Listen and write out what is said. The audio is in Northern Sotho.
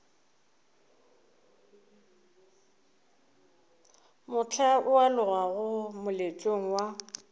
mohla o alogago moletlong wa